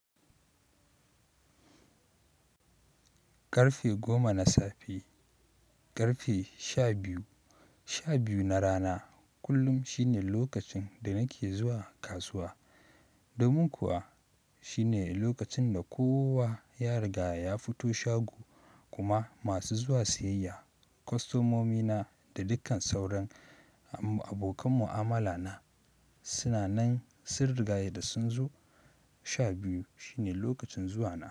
Karfe goma na safe, karfe sha biyu, sha biyu na rana kullum shine lokacin da nake zuwa kasuwa. Domin kuwa shine lokacin da kowa ya riga ya fito shago kuma masu zuwa siyayya, kostomomina da dukkan sauran abokan mu'amala na suna nan sun riga ya da sun zo. Sha biyu shine lokacin zuwa na.